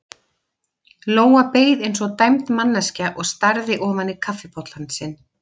Lóa beið eins og dæmd manneskja og starði ofan í kaffibollann sinn.